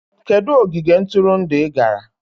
Kedu ogige ntụrụndụ ị gara?